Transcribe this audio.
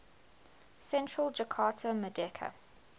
central jakarta merdeka